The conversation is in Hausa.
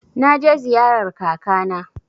Na je ziyarar kaka na.